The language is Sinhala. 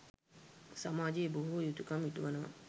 සමාජයේ බොහෝ යුතුකම් ඉටුවනවා.